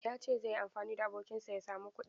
Ya ce zai yi amfani da abokinsa ya samu kuɗi.